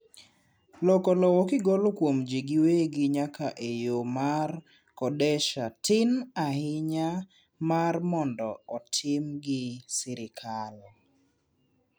loko lowo kigolo kuom jii giwegi nyaka e yoo mar kodesha tin ainya mar mondo otim gi sirkal